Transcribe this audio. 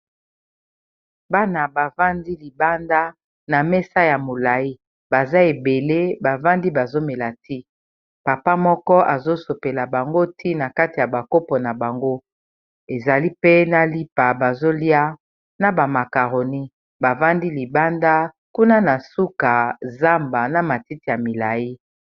Bana bavandi libanda na mesa ya molayi baza ebele bavandi bazo mela ti papa moko azo sopela bango ntina kati ya ba kopo na bango ezali pe na lipa ba zolia na ba makaroni bavandi libanda kuna na suka zamba na matiti ya milayi.